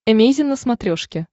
эмейзин на смотрешке